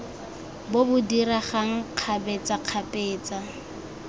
bo bo diregang kgabetsa kgabetsa